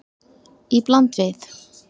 Í bland við